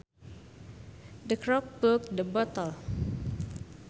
The cork plugged the bottle